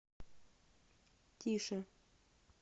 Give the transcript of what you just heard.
тише